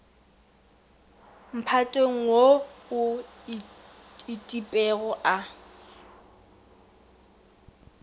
mphatong wo o itpego a